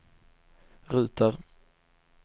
ruter